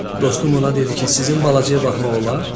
Dostum ona dedi ki, sizin balacaya baxmaq olar?